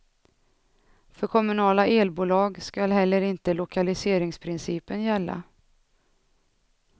För kommunala elbolag skall heller inte lokaliseringsprincipen gälla.